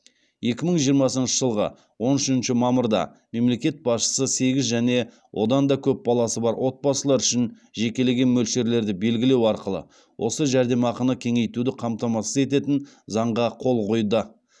екі мың жиырмасыншы жылғы он үшінші мамырда мемлекет басшысы сегіз және одан да көп баласы бар отбасылар үшін жекелеген мөлшерлерді белгілеу арқылы осы жәрдемақыны кеңейтуді қамтамасыз ететін заңға қол қойды